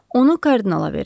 Onu kardinala verin.